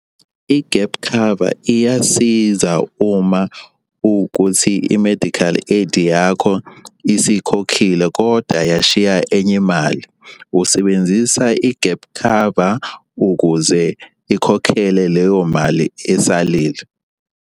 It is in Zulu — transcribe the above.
I-gap cover iyasiza uma kukuthi i-medical aid yakho isikhokhile koda yashiya enye imali. Usebenzisa i-gap cover ukuze ikhokhele leyo mali esalile.